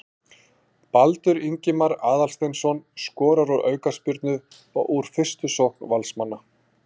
Baldur Ingimar Aðalsteinsson skorar úr aukaspyrnu og úr fyrstu sókn Valsmanna.